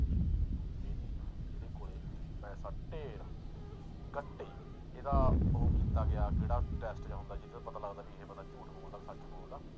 ਇਹਦੇ ਕੋਲੇ ਪੈਸਾ ਢੇਰ ਕੱਟੇ ਇਹਦਾ ਉਹ ਕੀਤਾ ਗਿਆ ਕਿਹੜਾ test ਜਿਹਾ ਹੁੰਦਾ, ਜਿਹਤੋਂ ਇਹ ਪਤਾ ਲੱਗਦਾ ਵੀ ਇਹ ਬੰਦਾ ਝੂਠ ਬੋਲਦਾ ਸੱਚ ਬੋਲਦਾ।